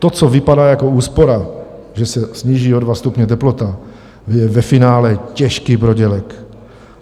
To, co vypadá jako úspora, že se sníží o dva stupně teplota, je ve finále těžký prodělek.